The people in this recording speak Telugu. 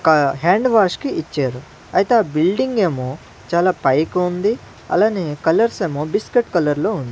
ఒక హ్యాండ్ వాష్ కి ఇచ్చారు అయితే ఆ బిల్డింగ్ ఏమో చాలా పైకుంది అలానే కలర్స్ ఏమో బిస్కెట్ కలర్లో వున్న--